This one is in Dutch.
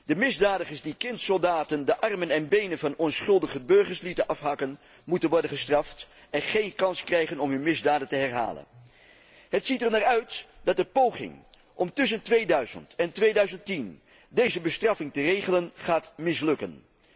De misdadigers die kindsoldaten de armen en benen van onschuldige burgers lieten afhakken, moeten worden gestraft en geen kans krijgen om hun misdaden te herhalen. Het ziet ernaar uit dat de poging om tussen 2000 en 2010 deze bestraffing te regelen, gaat mislukken.